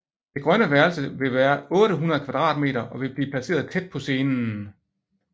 Det grønne værelse vil være 800 m² og vil blive placeret tæt på scenen